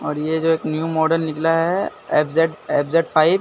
और ये जो एक न्यू मॉडल निकला है एफ_जेड एफ_जेड फाइव ।